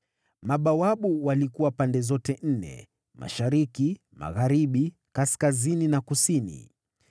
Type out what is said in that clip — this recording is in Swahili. Mabawabu walikuwa pande zote nne: mashariki, magharibi, kaskazini na kusini.